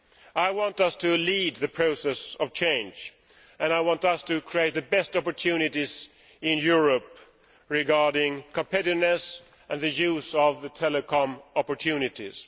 I want us to lead the process of change and I want us to create the best opportunities in Europe regarding competitiveness and the use of telecoms opportunities.